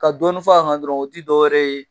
Ka dɔɔnin fɔ a kan dɔrɔn o ti dɔwɛrɛ ye